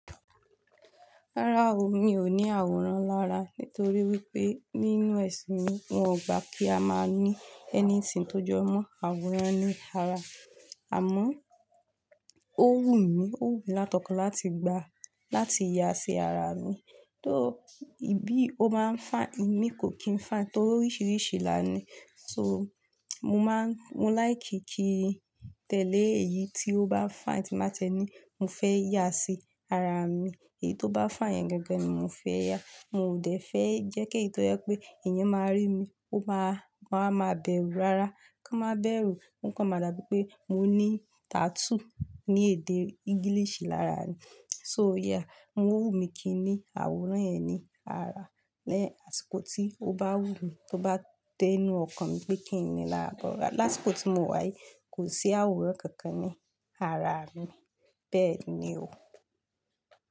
Rárá o, mi ò ní àwòrán lára nítorí wípé nínú ẹ̀sìn mi wọn ò gbà kí a máa ní anything tó jọmọ́ àwòrán ní ara. Àmọ́, ó wù mí, ó wù mí látọkan láti gbà láti yà sí ara mi, tó bí ó máa ń fà mí kò kí ń fà á torí oríṣiríṣi lánàá ni. So, mo máa ń, mo like kí tẹ́lẹ̀ èyí tí ó bá fine tí máa tie ní, mo fẹ́ yà sí ara mi. Èyí tó bá fine yẹn gangan ni mo fẹ́ yà. Mo ò dẹ̀ fẹ́ jẹ́ kí èyí tó yẹ pé èèyàn máa rí mi, ó máa, wọn a máa bẹ̀rù rárá, kán máa bẹ̀rù, o kan máa dà bíi pé mo ní tattoo ní èdè ìgiilìṣì lára mi. So yeah, mo wù mí kí i ní àwòrán yẹn ní ara lẹ́yìn àsìkò tí ó bá wù mí, tó bá dé inú ọkàn mi pé kí ni là ń bọ̀ lárá. But Láṣìkò tí mo wáyi kò sí àwòrán kankan ní ara mi, bẹ́ẹ̀ ni o.